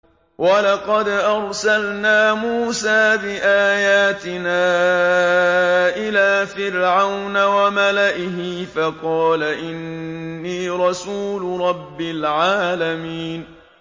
وَلَقَدْ أَرْسَلْنَا مُوسَىٰ بِآيَاتِنَا إِلَىٰ فِرْعَوْنَ وَمَلَئِهِ فَقَالَ إِنِّي رَسُولُ رَبِّ الْعَالَمِينَ